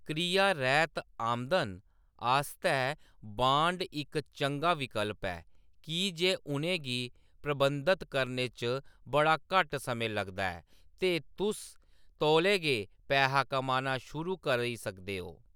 क्रिया-रैह्‌‌त आमदन आस्तै बांड इक चंगा विकल्प ऐ की जे उʼनें गी प्रबंधत करने च बड़ा घट्ट समें लगदा ऐ ते तुस तौले गे पैहा कमाना शुरू करी सकदे ओ।